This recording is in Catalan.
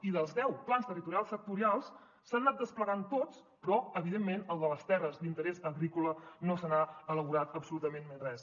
i els deu plans territorials sectorials s’han anat desplegant tots però evidentment del de les terres d’interès agrícola no se n’ha elaborat absolutament res